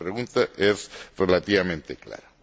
La pregunta es relativamente clara.